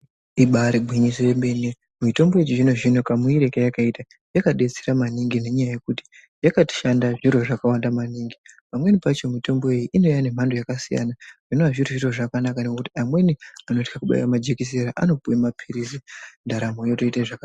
Ibarigwinyiso yemene mitombo yechizvino-zvino kamuuyire kayakaita yakabetsera maningi nenyaya yekuti yakashanda zviro zvakawanda maningi. Pamweni pacho mitombo iyi inouya nemhando dzakasiyana zvinova zviri zviro zvakanaka. Nekuti amweni anohla kubaira majekisera anopuva maphirizi ndaramo yotoita zvakanaka.